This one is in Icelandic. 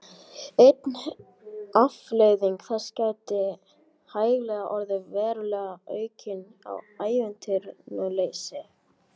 Ein afleiðing þessa gæti hæglega orðið veruleg aukning á atvinnuleysi.